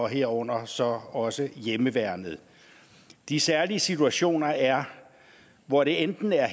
herunder så også hjemmeværnet de særlige situationer er hvor det enten er